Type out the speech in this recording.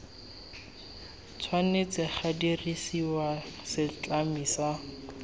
tshwanetse ga dirisiwa setlami sa